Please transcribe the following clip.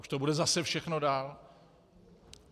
Už to bude zase všechno dál.